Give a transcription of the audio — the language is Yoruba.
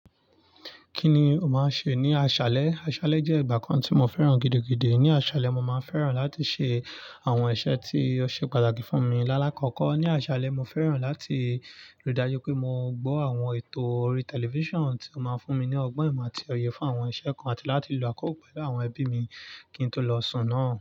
Kí ni o máa ń ṣe ní aṣálẹ́? Aṣálẹ́ jẹ́ ìgbà kan tí mo fẹ́ràn gidigidi. Ní aṣálẹ́, mo máa ń fẹ́ràn láti ṣe àwọn iṣẹ́ tí ó ṣe pàtàkì fún mi ní àlàkókò. Ní aṣálẹ́, mo fẹ́ràn láti rí i dájú pé mo gbọ́ àwọn ètò orí tẹlifíṣàn tí ó máa ń fún mi ní ọgbọ́n ìmọ̀ àti òye fún àwọn iṣẹ́ kan àti láti lo àkókò pẹ̀lú àwọn ẹbí mi kí n tó lọ sùn náà.